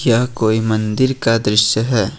यह कोई मंदिर का दृश्य है।